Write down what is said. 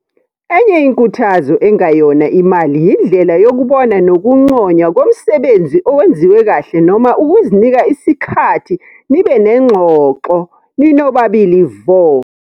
Enye inkuthazo engayona imali yindlela yokubona nokunconywa komsebenzi owenziwe kahle noma ukuzinika isikhathi nibe nengxoxo ninobabili vo.